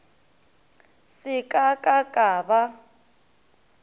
se ka ka ka ba